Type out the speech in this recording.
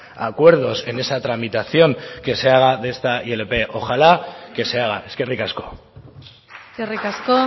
a acuerdos en esa tramitación que se haga de esta ilp ojalá que se haga eskerrik asko eskerrik asko